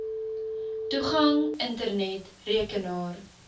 toegang internet rekenaar